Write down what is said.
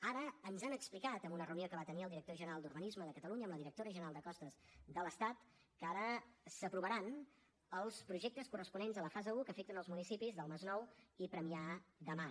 ara ens han explicat en una reunió que va tenir el director general d’urbanisme de catalunya amb la directora general de costes de l’estat que ara s’aprovaran els projectes corresponents a la fase un que afecten els municipis del masnou i premià de mar